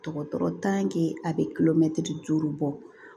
Dɔgɔtɔrɔ a bɛ kilo mɛtiri duuru bɔ